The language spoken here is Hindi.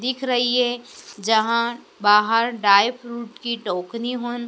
दिख रही है जहां बाहर ड्राई फ्रूट की टोकरी होन--